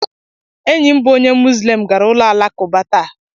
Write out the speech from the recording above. Enyi m bụ onye Muzlem gara ụlọ alakụba taa.